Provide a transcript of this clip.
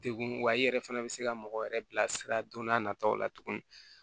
Degun wa i yɛrɛ fɛnɛ bɛ se ka mɔgɔ yɛrɛ bilasira don n'a nataw la tuguni